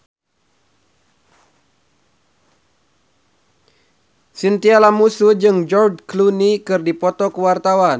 Chintya Lamusu jeung George Clooney keur dipoto ku wartawan